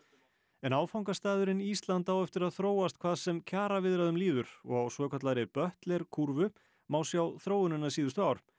en áfangastaðurinn Ísland á eftir að þróast hvað sem kjaraviðræðum líður og á svokallaðri kúrfu má sjá þróunina síðustu ár